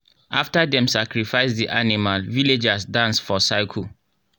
after dem sacrifice the animal villagers dance for circle.